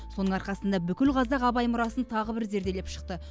соның арқасында бүкіл қазақ абай мұрасын тағы бір зерделеп шықты